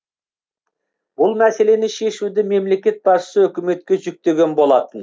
бұл мәселені шешуді мемлекет басшысы үкіметке жүктеген болатын